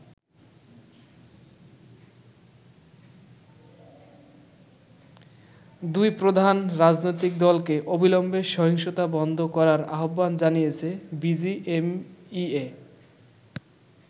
দুই প্রধান রাজনৈতিক দলকে অবিলম্বে সহিংসতা বন্ধ করার আহ্বান জানিয়েছে বিজিএমইএ।